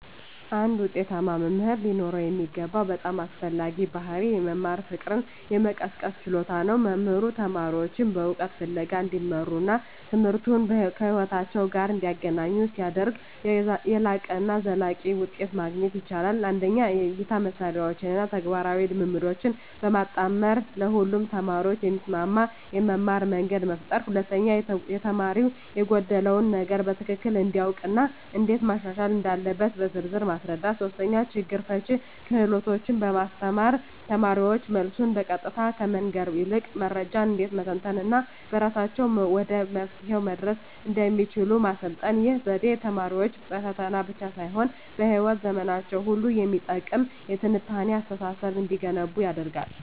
አንድ ውጤታማ መምህር ሊኖረው የሚገባው በጣም አስፈላጊው ባሕርይ የመማር ፍቅርን የመቀስቀስ ችሎታ ነው። መምህሩ ተማሪዎቹን በእውቀት ፍለጋ እንዲመሩና ትምህርቱን ከሕይወታቸው ጋር እንዲያገናኙ ሲያደርግ፣ የላቀና ዘላቂ ውጤት ማግኘት ይቻላል። 1) የእይታ ማሳያዎችን እና ተግባራዊ ልምምዶችን በማጣመር ለሁሉም ተማሪዎች የሚስማማ የመማርያ መንገድ መፍጠር። 2)ተማሪው የጎደለውን ነገር በትክክል እንዲያውቅ እና እንዴት ማሻሻል እንዳለበት በዝርዝር ማስረዳት። 3)ችግር ፈቺ ክህሎቶችን ማስተማር: ተማሪዎች መልሱን በቀጥታ ከመንገር ይልቅ መረጃን እንዴት መተንተን እና በራሳቸው ወደ መፍትሄው መድረስ እንደሚችሉ ማሰልጠን። ይህ ዘዴ ተማሪዎች በፈተና ብቻ ሳይሆን በሕይወት ዘመናቸው ሁሉ የሚጠቅም የትንታኔ አስተሳሰብ እንዲገነቡ ይረዳል።